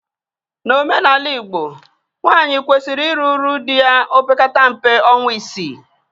N'omenala Igbo, nwaanyị kwesiri iru uju di ya opekata mpe ọnwa isii